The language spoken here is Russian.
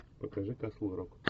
покажи касл рок